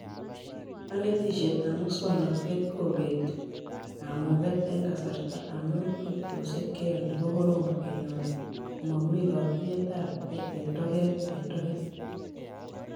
Kanetishetab muswonotet kobetie kamuket eng kasarta amu tubchoshek cheyoni kokorom kenyor komami tatuyetabke ene toget eng toget